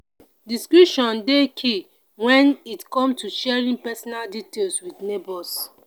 discretion dey key when it come to sharing personal details with neighbors.